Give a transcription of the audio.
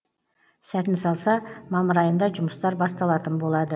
сәтін салса мамыр айында жұмыстар басталатын болады